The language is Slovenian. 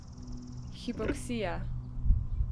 Hipoksija.